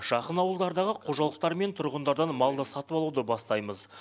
жақын ауылдардағы қожалықтар мен тұрғындардан малды сатып алуды бастаймыз